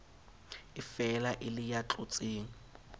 efela e le ya tlotseng